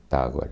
Está agora.